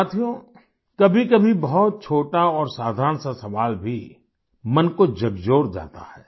साथियो कभीकभी बहुत छोटा और साधारण सा सवाल भी मन को झकझोर जाता है